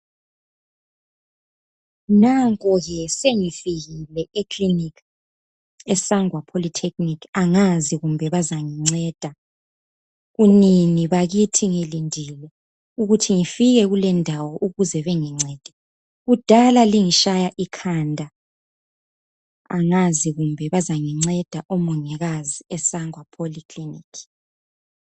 nanko ke sengifikile e clinic e sangwa polytechnic angazi kumbe bazanginceda kunini bakithi ngilindile ukuthi ngifike kulendawo ukuze bengincede kudala lingitshaya ikhanda angazi kumbe bazanginceda esangwa polyclinic